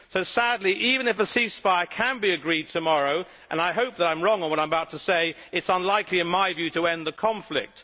So sadly, even if a ceasefire can be agreed tomorrow and I hope that I am wrong in what I am about to say it is unlikely in my view to end the conflict.